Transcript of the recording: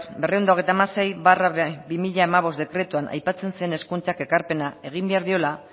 berrehun eta hogeita hamasei barra bi mila hamabost dekretuan aipatzen zen hezkuntzak elkarpena egin behar diola